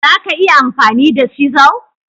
Za ka iya amfani da cisel?